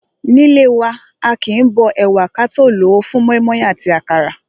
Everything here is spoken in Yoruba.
Nílé wa, aàkín bó ẹ̀wà wa ka tó lòó fún mọ́ímọ́í àti àkàrà.